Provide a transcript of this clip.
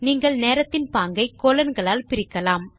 நீங்கள் நேரத்தின் பாகங்களை கோலோன் களால் பிரிக்கலாம்